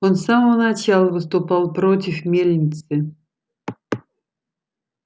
он с самого начала выступал против мельницы